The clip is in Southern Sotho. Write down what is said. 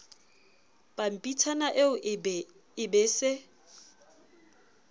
pampitshana eo e be se